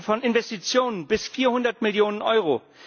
Wir reden von Investitionen bis 400 Millionen Euro.